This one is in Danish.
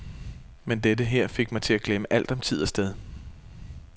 Men dette her fik mig til at glemme alt om tid og sted.